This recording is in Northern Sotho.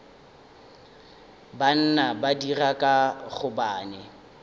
banna ba dira ka gobane